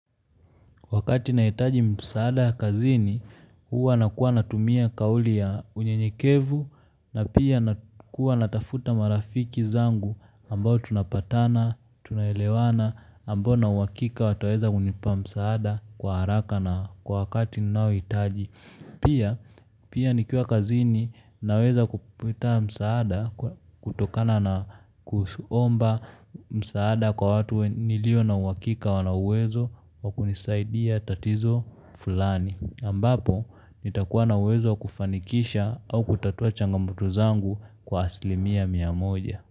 Wakati nahitaji msaada kazini, huwa nakuwa natumia kauli ya uny nyekevu na pia nakuwa natafuta marafiki zangu ambao tunapatana, tunaelewana, ambao na uwakika wataweza kunipa msaada kwa haraka na kwa wakati na hitaji. Pia nikiwa kazini naweza kupata msaada kwa kutokana na kuomba msaada kwa watu nilio na uhakika wana uwezo wa kunisaidia tatizo fulani. Ambapo, nitakuwa na uwezo wa kufanikisha au kutatua changamoto zangu kwa asilimia mia moja.